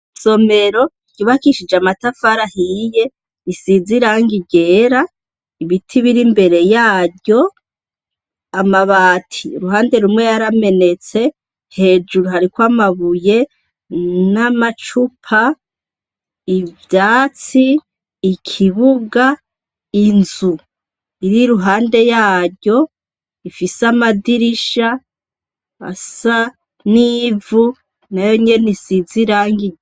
Isomero ryubakishije amatafari ahiye risize irangi ryera, ibiti biri imbere yaryo, amabati uruhande rumwe yaramenetse, hejuru hariko amabuye n'amacupa, ivyatsi, ikibuga, inzu iri iruhande yaryo ifise amadirisha asa n'ivu, nayo nyene isize irangi.